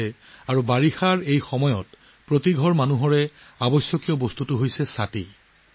আৰু এই বাৰিষা কালত সকলোৰে ঘৰত যিটো বিচাৰিবলৈ আৰম্ভ কৰে সেয়া হ'ল 'হেব্ৰেলা'